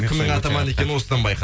кімнің атаман екені осыдан байқа